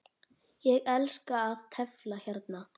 Ég elska að tefla hérna.